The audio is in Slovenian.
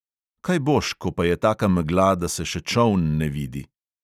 Kaj boš, ko pa je taka megla, da se še čoln ne vidi?